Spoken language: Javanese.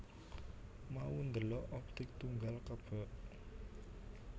Mau ndelok Optik Tunggal kebek